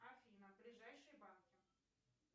афина ближайшие банки